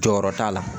Jɔyɔrɔ t'a la